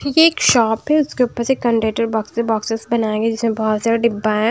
ये एक शॉप है उसके ऊपर से कंडेटर बॉक्स है बॉक्सेस बनाए गए है जिसमें बहोत सारा डिब्बा है।